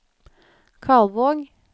Kalvåg